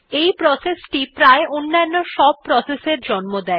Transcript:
এই প্রসেস টি প্রায় অন্যান্য সব প্রসেস এর জন্ম দেয